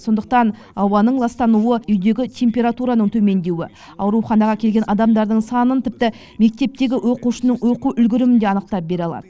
сондықтан ауаның ластануы үйдегі температураның төмендеуі ауруханаға келген адамдардың санын тіпті мектептегі оқушының оқу үлгерімін де анықтап бере алады